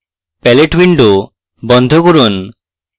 palette window বন্ধ করুন